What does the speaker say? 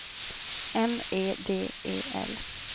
M E D E L